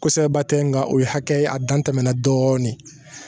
Kosɛbɛba tɛ nka o ye hakɛ ye a dan tɛmɛna dɔɔnin